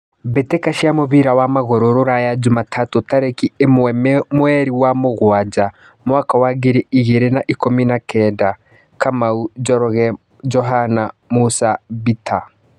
Mbĩ tĩ ka cia mũbira wa magũrũ Ruraya Jumatatũ tarĩ ki ĩ mwe mweri wa mũgwanja mwaka wa ngiri igĩ rĩ na ikũmi na kenda: Kamau, Njoroge, Johana, Musa, Bita